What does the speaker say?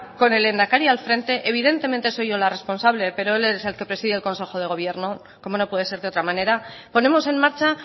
con el lehendakari al frente evidentemente soy yo la responsable pero es él el que preside el consejo de gobierno como no puede ser de otra manera ponemos en marcha